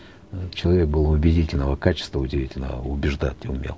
человек был убедительного качества удивительного убеждать умел